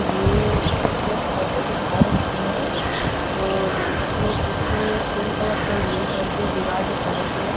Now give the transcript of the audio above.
यह इसमें एक फोटो दिखा रखी है और इसमें पीछे ब्लू कलर ग्रीन कलर की दीवार दिख रही है।